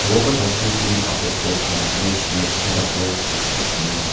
workers are seen clean up the platform of netch made of rods which mix cement.